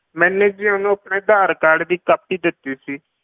ਮੈਨੇ ਜੀ ਉਹਨੂੰ ਆਪਣਾ ਆਧਾਰ ਕਾਰਡ ਦੀ copy ਦਿੱਤੀ ਸੀ।